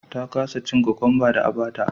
ta kasa cin cucumba da a bata